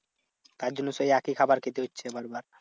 তার জন্য সেই একই খাবার খেতে হচ্ছে বারবার।